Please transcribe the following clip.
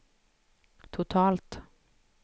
totalt